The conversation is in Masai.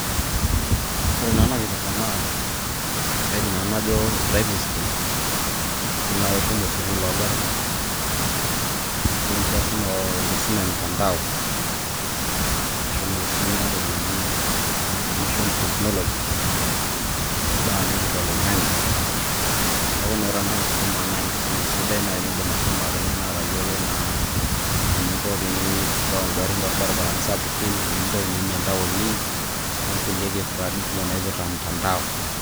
Ore na ena kipirta naa, kaidim nanu najo driving school. Idim nai ashomo sukuul ogarrin. Idim si ashomo enkisuma emtandao. Ashomo aisumia entoki naji Information Technology. Imbaa naipirta oloing'ang'e. Neeku na ore ena kisuma na enkisuma sidai nai nidim ashomo ateng'ena atayiolo naa eninko tenireu igarrin torbaribarani sapuki, eninko teniimie intaoni, onkulie kipirtani kumok naipirta mtandao.